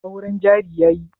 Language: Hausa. Auren jari yayi?